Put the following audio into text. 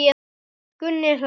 Gunni hlær.